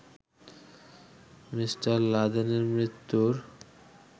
me: লাদেনের মৃত্যুর